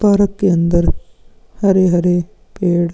park के अंदर हरे-हरे पेड़ --